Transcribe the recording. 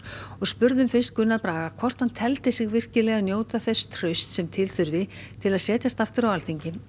og spurðum Gunnar Braga hvort hann teldi sig njóta þess trausts sem til þurfi til að setjast aftur á þing